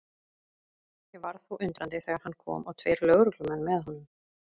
Ég varð þó undrandi þegar hann kom og tveir lögreglumenn með honum.